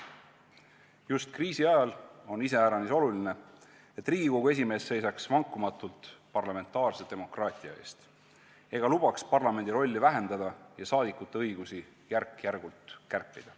Just kriisi ajal on iseäranis oluline, et Riigikogu esimees seisaks vankumatult parlamentaarse demokraatia eest ega lubaks parlamendi rolli vähendada ja saadikute õigusi järk-järgult kärpida.